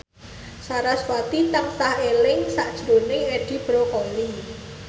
sarasvati tansah eling sakjroning Edi Brokoli